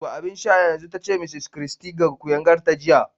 Zuba abin sha yanzu! ta ce Mrs Christy ga kuyangarta jiya.